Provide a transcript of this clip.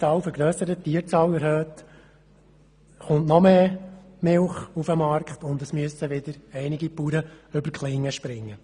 Das führt zu noch mehr Milch auf dem Markt, und es müssen wieder einige Bauern über die Klinge springen.